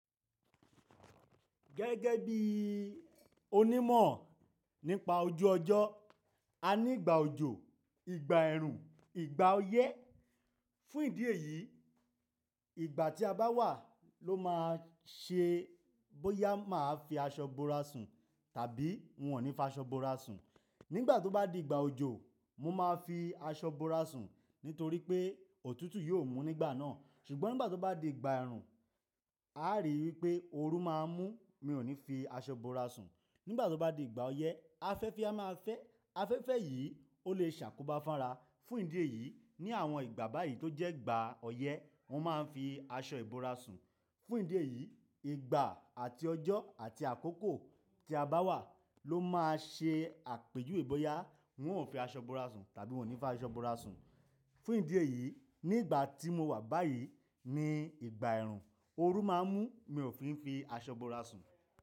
Gẹ́gẹ́ bí onímọ̀ nípa ojú ọjọ́, a ní ìgbà òjò, ìgbà ẹ̀rùn, ìgbà ọyẹ́. Fún ìdí èyí, ìgbà tí a bá wà ló máa ṣe bóyá máa fi aṣọ bora sùn tàbí n ò ní fi aṣọ bora sùn. Nígbà tó bá di ìgbà òjò, mo máa fi aṣọ bora sùn nítorí pé òtútù yóò mú nígbà náà. Ṣùgbọ́n nígbà tó bá di ìgbà ẹ̀rùn, a rí i pé oru máa ń mú, mi ò ní fi aṣọ bora sùn. Nígbà tó bá di ìgbà ọyẹ́, afẹ́fẹ́ a máa fẹ́, afẹ́fẹ́ yìí ó lè ṣàkóbá fánra. Fún ìdí èyí, ní àwọn ìgbà báyìí tó jẹ́ ìgbà ọyẹ́, wọ́n máa ń fi aṣọ ìbora sùn. Fún ìdí èyí, ìgbà àti ọjọ́ àti àkókò tí a bá wà ló máa ṣe àpèjú wè bóyá wọn ò fi aṣọ bora sùn tàbí wọ́n ò ní fi aṣọ bora sùn. Fún ìdí èyí, ní ìgbà tí mo wà báyìí ni ìgbà ẹ̀rùn, oru máa ń mú mi ò fi ń fi aṣọ bora sùn.